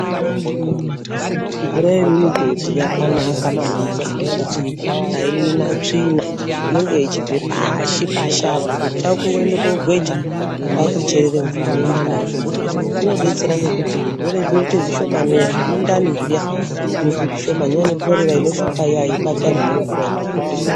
Mvura yemimigodhi yakanaka maningi ngekuti aina tsvina inenge ichibve pashi-pashi apo , chako kungoenda kogweja kwakucherera mvura mwoenda nayo kumhatso .Inobetsera ngekuti zvirwere zvinoite zvishomane . Zvemundani zviya zvinoita zvishomane nekorera inoshupa iyani aibati vanhu vanomwe mvura yemugodhi .